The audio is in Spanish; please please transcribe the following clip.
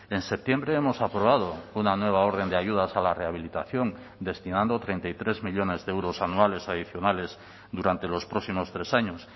en septiembre hemos aprobado una nueva orden de ayudas a la rehabilitación destinando treinta y tres millónes de euros anuales adicionales durante los próximos tres años